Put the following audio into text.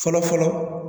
Fɔlɔ fɔlɔ